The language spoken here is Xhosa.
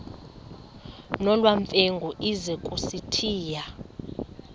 nolwamamfengu ize kusitiya